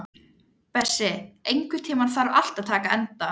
Bessi, einhvern tímann þarf allt að taka enda.